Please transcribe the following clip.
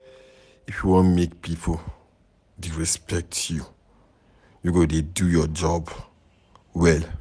If you wan make pipo dey respect you, you go dey do your job well.